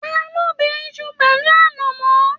Taló bẹ̀ Isu pẹlu anamọ?